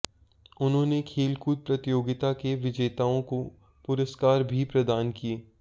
उन्होंने खेलकूद प्रतियोगिता के विजेताओं को पुरस्कार भी प्रदान किए